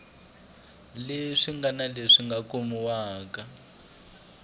leswi ngana leswi nga kumiwa